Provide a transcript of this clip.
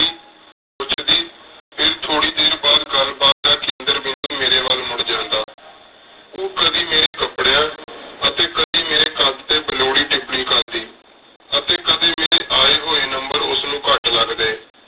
ਫੇਰ ਥੋਰੀ ਦੇਰ ਬਾਦ ਗਲ ਬਾਤ ਦਾ ਕੇਂਦਾਰ ਬਿੰਦੁ ਮੇਰੀ ਵਾਲ ਮੁਰ ਜਾਂਦਾ ਓਹ ਕਦੀ ਮੇਰੀ ਕਾਪ੍ਰ੍ਯਾਂ ਅਤੀ ਕਦੀ ਕਦੀ ਮੇਰੀ ਕਾਦ ਟੀ ਬੇਲੋੜੀ ਤਿਪਿੰਗ ਕਰਦੀ ਅਤੀ ਕਦੀ ਕਦੀ ਮੇਰੀ ਏ ਹੋਏ ਨੰਬਰ ਉਸ ਨੂ ਕਤ ਲਗਦੀ